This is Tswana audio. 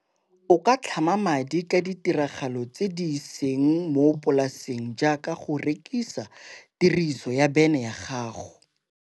O ka tlhama madi ka ditiragalo tse di seng mo polaseng, jaaka go rekisa tiriso ya bene ya gago.